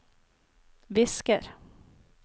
visker